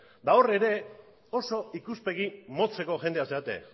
eta hor ere oso ikuspegi motzeko jendea zarete